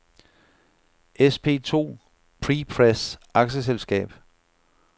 SP2 Prepress A/S